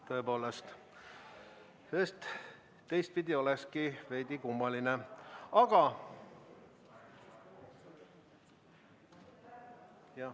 Tõepoolest, teistpidi oleks veidi kummaline.